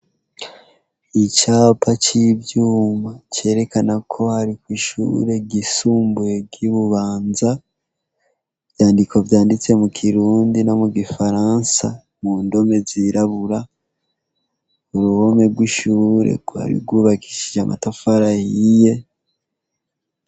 Icapa c'ivyuma cerekena ko har'ishure ryisumbuye ry'ibubanza, ivyandiko vyanditse mukirundi no mugifaransa, mundome zirabura, n'uruhome rw'ishure rwubakishije amatafari ahiye.